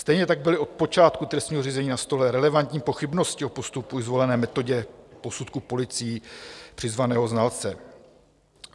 Stejně tak byly od počátku trestního řízení na stole relevantní pochybnosti o postupu i zvolené metodě posudku policií přizvaného znalce.